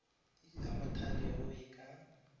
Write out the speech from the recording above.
ya mothale o e ka